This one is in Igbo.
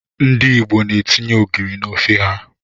Ndị Igbo etinye ogiri n'ofe ha.